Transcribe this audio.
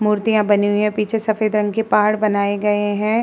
मूर्तियां बनी हुए हैं। पीछे सफ़ेद रंग के पहाड़ बनाये गए हैं।